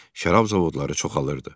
Şərab zavodları çoxalılırdı.